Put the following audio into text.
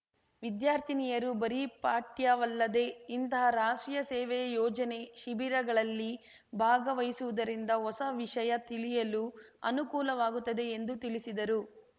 ವಿದ್ಯಾರ್ಥಿನಿಯರು ಬರೀ ಪಠ್ಯವಲ್ಲದೇ ಇಂತಹ ರಾಷ್ಟ್ರೀಯ ಸೇವೆ ಯೋಜನೆ ಶಿಬಿರಗಳಲ್ಲಿ ಭಾಗವಹಿಸುವುದರಿಂದ ಹೊಸ ವಿಷಯ ತಿಳಿಯಲು ಅನುಕೂಲವಾಗುತ್ತದೆ ಎಂದು ತಿಳಿಸಿದರು